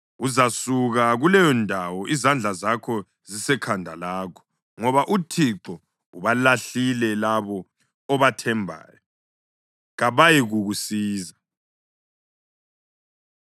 Uzasuka kuleyondawo izandla zakho zisekhanda lakho, ngoba uThixo ubalahlile labo obathembayo; kabayikukusiza.”